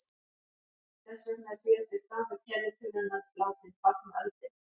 Þess vegna er síðasti stafur kennitölunnar látinn tákna öldina.